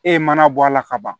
E ye mana bɔ a la ka ban